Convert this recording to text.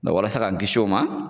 Nga walasa k'an kisi o ma